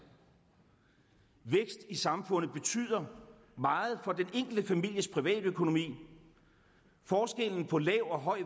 vækst i samfundet betyder meget for den enkelte families privatøkonomi forskellen på lav og høj